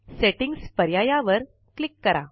settings पर्यायावर click करा